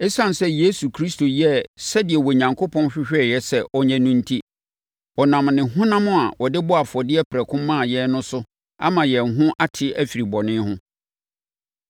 Esiane sɛ Yesu Kristo yɛɛ sɛdeɛ Onyankopɔn hwehwɛ sɛ ɔnyɛ no enti, ɔnam ne honam a ɔde bɔɔ afɔdeɛ prɛko maa yɛn no so ama yɛn ho ate afiri bɔne ho.